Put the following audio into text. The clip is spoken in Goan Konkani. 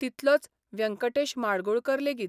तितलोच व्यंकटेश माडगूळकर लेगीत.